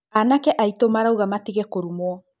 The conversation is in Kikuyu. Aanake aitũ marauga matige kũrumwo.